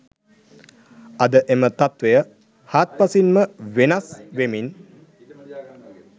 අද එම තත්වය හාත්පසින් ම වෙනස් වෙමින්